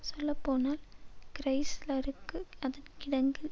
சொல்லப்போனால் கிறைஸ்லருக்கு அதன் கிடங்கில்